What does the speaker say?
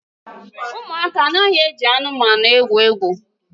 Ụmụaka anaghị eji anụmanụ egwu egwu